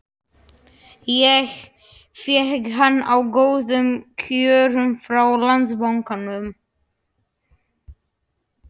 Ég fékk hann á góðum kjörum frá Landsbankanum.